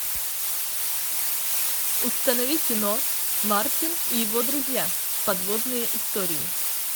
установи кино мартин и его друзья подводные истории